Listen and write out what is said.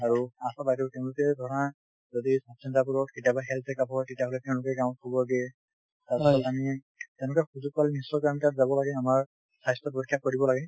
আৰু আশা বাইদেউ তেওঁলোকে ধৰা যদি sub center বোৰত কেতিয়াবা health checkup হয় তেতিয়া হলে তেওঁলোকে গাঁৱত খবৰ দিয়ে তাৰ পিছত আমি তেনেকুৱা সুযোগ পালে নিশ্চয়কৈ আমি তাত যাব লাগে আমাৰ স্বাস্থ্য পৰীক্ষা কৰিব লাগে